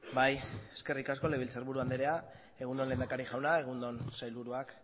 bai eskerrik asko legebiltzar buru andrea egun on lehendakari jauna egun on sailburuak